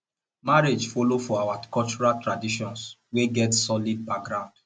marriage follow for our cultural traditions wey get solid ground